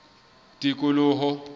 tikoloho